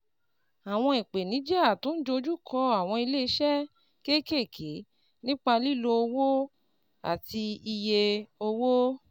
Àwọn ìpèníjà tó ń dojú kọ àwọn ilé iṣẹ́ kéékèèké nípa lílo owó àti iye owó